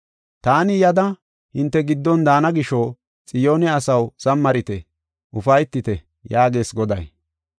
“Taani yada hinte giddon daana gisho, Xiyoone asaw, zamarite; ufaytite!” yaagees Goday.